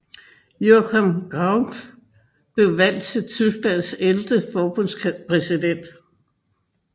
Joachim Gauck blev valgt til Tysklands ellevte forbundspræsident